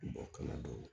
kala dɔw